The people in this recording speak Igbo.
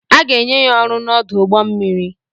A ga-enye ya ọrụ n'ọdụ ụgbọ mmiri.